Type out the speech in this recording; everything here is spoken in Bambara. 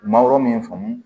Mangoro min faamu